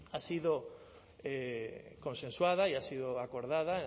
ha sido consensuada y ha sido acordada